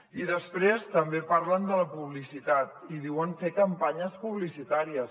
i després també parlen de la publicitat i diuen fer campanyes publicitàries